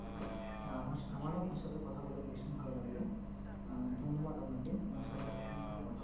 হ্যাঁ আমারও আপনার সাথে কথা বলে ভীষণ ভালো লাগলো আহ ধন্যবাদ আপনাকে আমার সাথে এতক্ষন ধরে কথা